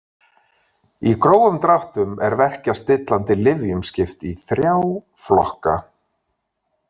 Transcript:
Í grófum dráttum er verkjastillandi lyfjum skipt í þrjá flokka.